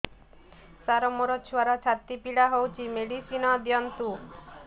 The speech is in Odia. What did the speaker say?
ସାର ମୋର ଛୁଆର ଛାତି ପୀଡା ହଉଚି ମେଡିସିନ ଦିଅନ୍ତୁ